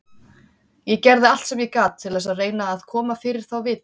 Ég gerði allt sem ég gat til þess að reyna að koma fyrir þá vitinu.